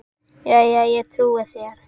Jæja, ég trúi þér.